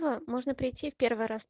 но можно прийти в первый раз